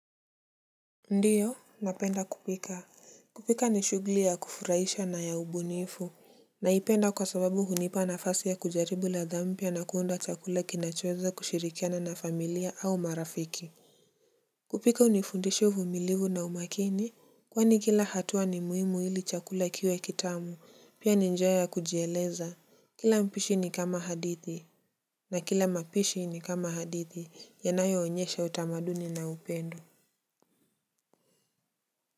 Ndio napenda kupika. Kupika ni shughuli ya kufurahisha na ya ubunifu. Naipenda kwa sababu hunipa nafasi ya kujaribu ladha mpya na kuunda chakula kinachoweza kushirikiana na familia au marafiki. Kupika hunifundishi uvumilivu na umaakini. Kwani kila hatua ni muhimu ili chakulaa kiwe kitamu pia ni njia ya kujieleza. Kila mpishi ni kama hadithi. Na kila mapishi ni kama hadithi yanayoonyesha utamaduni na upendo.